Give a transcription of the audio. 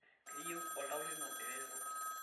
keyieu oltau lino ereteto